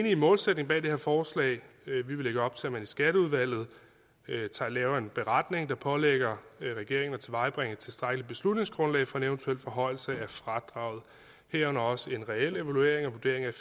i målsætningen bag det her forslag vi vil lægge op til at man i skatteudvalget laver en beretning der pålægger regeringen at tilvejebringe et tilstrækkeligt beslutningsgrundlag for en eventuel forhøjelse af fradraget herunder også en reel evaluering og vurdering af